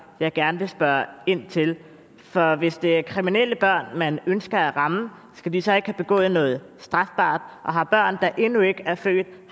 jeg gerne vil spørge ind til for hvis det er kriminelle børn man ønsker at ramme skal de så ikke have begået noget strafbart og har børn der endnu ikke er født